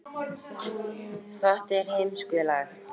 Frumvarpið mætti mikilli andstöðu sjálfstæðismanna